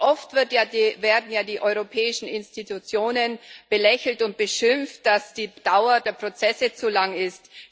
Oft werden ja die europäischen Institutionen belächelt und beschimpft, dass die Dauer der Prozesse zu lang ist.